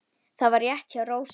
Það var rétt hjá Rósu.